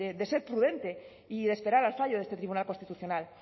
de ser prudente y de esperar al fallo de este tribunal constitucional